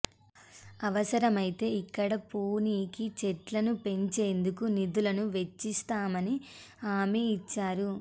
అవసరమైతే ఇక్కడ పొణికి చెట్లను పెంచేందుకు నిధులు వెచ్చిస్తామని హామీ ఇచ్చారు